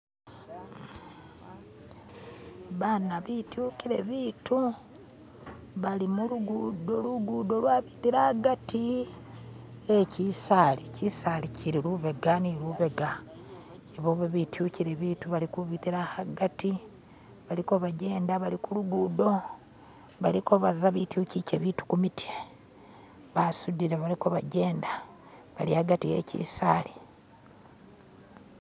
bana bityukile bitu bali mulugudo lugudo lwabitila agati yekyisali kyisali kyili lubega ni lubega ibobo bityukile bitu bali kubitila agati baliko bajenda bali kulugudo baliko baza betyukike bitu kumutye basudile baliko bajenda bali agati yekyisali